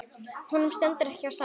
Honum stendur ekki á sama.